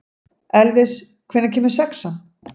Elvis, hvenær kemur sexan?